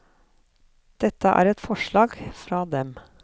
Dette er et forslag fra dem.